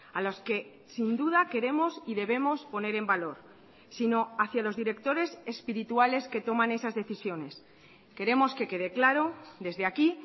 a los que sin duda queremos y debemos poner en valor sino hacia los directores espirituales que toman esas decisiones queremos que quede claro desde aquí